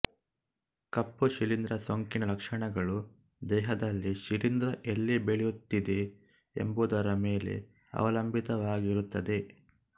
ಕಪ್ಪು ಶಿಲೀಂಧ್ರ ಸೋಂಕಿನ ಲಕ್ಷಣಗಳು ದೇಹದಲ್ಲಿ ಶಿಲೀಂಧ್ರ ಎಲ್ಲಿ ಬೆಳೆಯುತ್ತಿದೆ ಎಂಬುದರ ಮೇಲೆ ಅವಲಂಬಿತವಾಗಿರುತ್ತದೆ